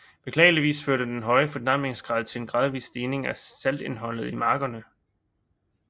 Beklageligvis førte den høje fordampningsgrad til en gradvis stigning af saltindholdet i markerne